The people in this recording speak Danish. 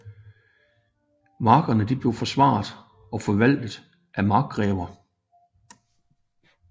Markerne blev forsvaret og forvaltet af markgrever